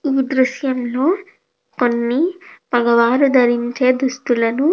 ఈ దృశ్యంలో కొన్ని మగవారు ధరించే దుస్తులను --